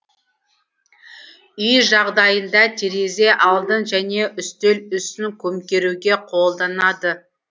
үй жағдайында терезе алдын және үстел үстін көмкеруге қолданады